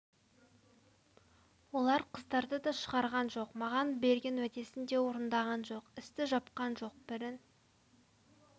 олар қыздарды да шығарған жоқ маған берген уәдесін де орындаған жоқ істі жапқан жоқ бірін